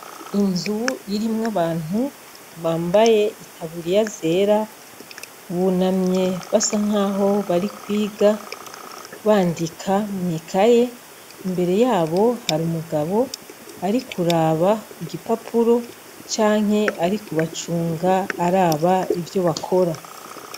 Inzu irimwo abantu, bambaye itaburiya yera, buname basa nkaho barikwiga, bandika mw'ikaye, imbere yabo har'umugabo arikuraba igipapuro canke arikubacunga araba ivyo bakora.